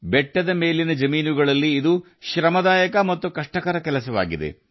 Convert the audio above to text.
ಬೆಟ್ಟದ ಜಮೀನುಗಳಲ್ಲಿ ಇದು ಶ್ರಮದಾಯಕ ಮತ್ತು ಕಷ್ಟಕರವಾದ ಕೆಲಸವಾಗಿದೆ